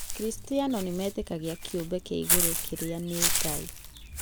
Akristiano nĩmetĩkagia kĩũmbe kĩa igũrũ kĩrĩa nĩ Ngai.